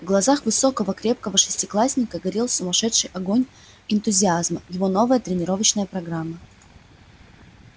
в глазах высокого крепкого шестиклассника горел сумасшедший огонь энтузиазма его новая тренировочная программа